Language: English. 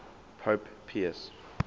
pope pius